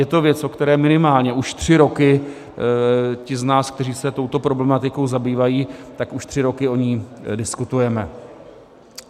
Je to věc, o které minimálně už tři roky ti z nás, kteří se touto problematikou zabývají, tak už tři roky o ní diskutujeme.